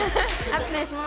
efnið sem